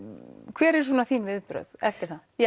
hver eru svona þín viðbrögð eftir það